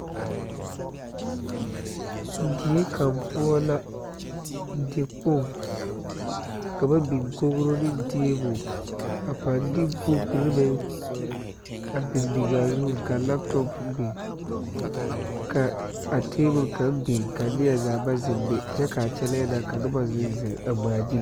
Die kaŋ poɔ la tikpoŋ ka ba biŋ kogro neŋ tabol a paŋ de buukure meŋ a biŋbiŋaa zuŋ ka laptɔp biŋ ka a tabol kaŋ biŋ ka niezaa ba zeŋ be kyɛ ka ba kyɛlɛɛ na ka nobɔ zeŋ zeŋ a ngmaagyile.